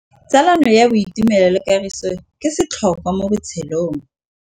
Tsalano ya boitumelo le kagiso ke setlhôkwa mo botshelong.